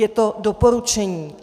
Je to doporučení.